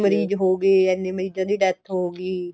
ਮਰੀਜ ਹੋ ਗਏ ਇੰਨੇ ਮਰੀਜਾ ਦੀ death ਹੋ ਗਈ